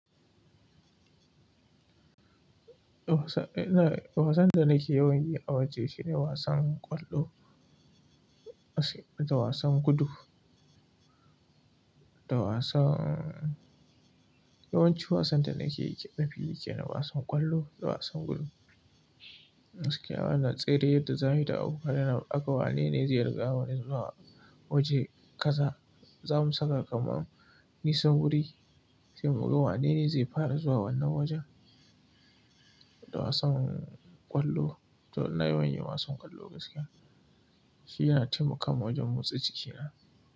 Wasan, eh na, wasan da nake yawan yi a waje shine wasan ƙwallo, da wasan gudu, da wasan yawanci wasan da nakeyi, nafi yi kenan wasan ƙwallo da wasan gudu. Gaskiya ana tsere yadda za ayi da abokanai na, aga wanene zai riga wani zuwa waje kaza. Za mu saka kamar nisan wuri, sai mu ga wanene zai fara zuwa wannan wajen. Da wasan ƙwallo, to ina yawan yin wasan ƙwallo gaskiya. Shi yana taimakawa wajen motsa jiki na.